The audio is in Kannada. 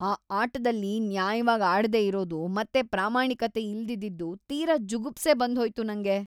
ಆ ಆಟದಲ್ಲಿ ನ್ಯಾಯವಾಗ್‌ ಆಡ್ದೇ ಇರೋದು ಮತ್ತೆ ಪ್ರಾಮಾಣಿಕತೆ ಇಲ್ದಿದ್ದಿದ್ದು ತೀರಾ ಜುಗುಪ್ಸೆ ಬಂದ್ಹೋಯ್ತು ನಂಗೆ.